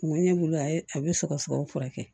Kun bɛ ne bolo a ye a bɛ sɔgɔsɔgɔ furakɛ